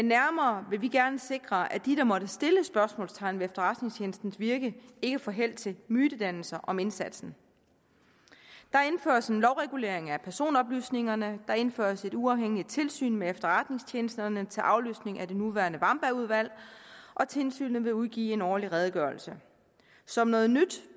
nærmere gerne sikre at de der måtte sætte spørgsmålstegn ved efterretningstjenesternes virke ikke får held til mytedannelser om indsatsen der indføres en lovregulering af personoplysningerne der indføres et uafhængigt tilsyn med efterretningstjenesterne til afløsning af det nuværende wambergudvalg og tilsynet vil udgive en årlig redegørelse som noget nyt